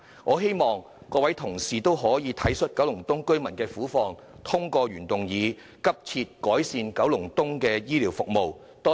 我希望各位同事體恤九龍東居民的苦況，通過我的原議案"急切改善九龍東公營醫療服務"。